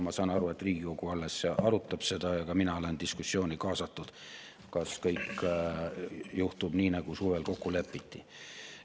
Ma saan aru, et Riigikogu alles arutab seda, ja ka mina olen kaasatud diskussiooni, kas kõik juhtub nii, nagu suvel kokku lepiti.